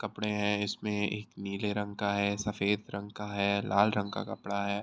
कपड़े हैं इसमें एक नीले रंग का है सफ़ेद रंग का है लाल रंग का कपड़ा है।